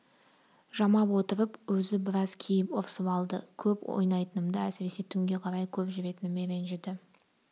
жамап отырып өзі біраз кейіп ұрсып алды көп ойнайтынымды әсіресе түнге қарай көп жүретініме ренжіді